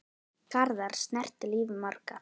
Garðar snerti líf margra.